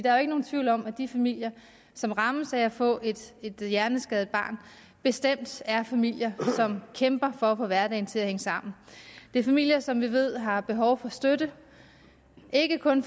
er jo ikke nogen tvivl om at de familier som rammes af at få et hjerneskadet barn bestemt er familier som kæmper for at få hverdagen til at hænge sammen det er familier som vi ved har behov for støtte ikke kun